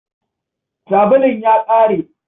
Sabulun ya ƙare.